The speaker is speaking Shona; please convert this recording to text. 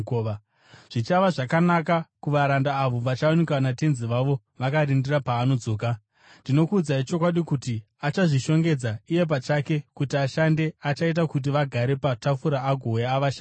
Zvichava zvakanaka kuvaranda avo vachawanikwa natenzi wavo vakarindira paanodzoka. Ndinokuudzai chokwadi kuti achazvishongedza iye pachake kuti ashande, achaita kuti vagare patafura agouya avashandire.